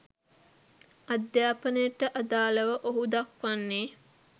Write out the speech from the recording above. අධ්‍යාපනයට අදාළව ඔහු දක්වන්නේ